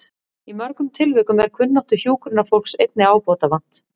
Í mörgum tilvikum er kunnáttu hjúkrunarfólks einnig ábótavant.